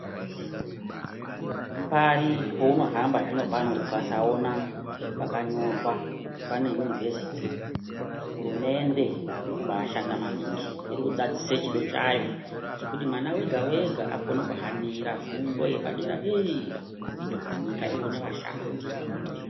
Pari paunohamba zvino pano ukasaona pakanyorwa kuti pane yunivhesiti hurumende iri kubashanda maningi iri kudzadzise chido chayo chekuti mwana wega wega akone kuhanira fundo yepadera dera kuite kuti nyika ione vashandi.